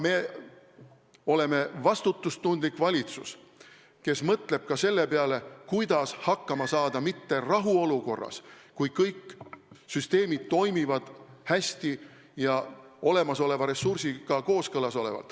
Meie oleme vastutustundlik valitsus, kes mõtleb ka selle peale, kuidas hakkama saada mitte rahuolukorras, kui kõik süsteemid toimivad hästi ja olemasoleva ressursiga kooskõlas olevalt.